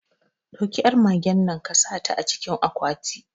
Ɗauki yar magennan kasaka ta acikin akwati